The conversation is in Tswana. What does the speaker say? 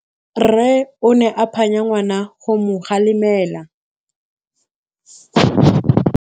Rre o ne a phanya ngwana go mo galemela.